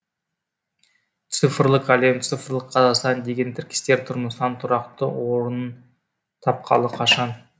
цифрлық әлем цифрлық қазақстан деген тіркестер тұрмыстан тұрақты орнын тапқалы қашан